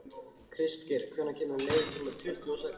Kristgeir, hvenær kemur leið númer tuttugu og sex?